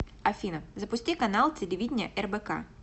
афина запусти канал телевидения рбк